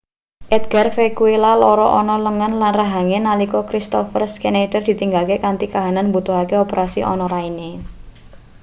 edgar vequilla lara ana lengen lan rahange nalika kristoffer scneider ditinggalke kanthi kahanan mbutuhake operasi ana raine